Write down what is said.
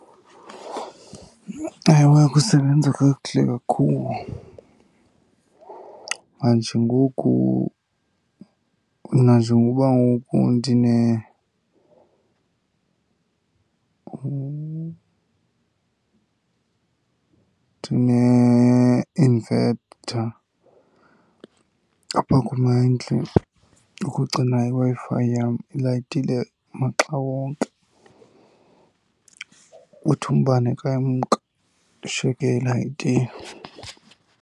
Ewe, kusebenza kakuhle kakhulu. Manje ngoku nanjengokuba ngoku ndineinvetha apha kum endlini ukugcina iWi-Fi yam ilayitile maxa wonke, uthi umbane ka umka ishiyeke ilayitile.